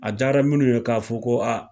A diyara minnu ye k'a fɔ ko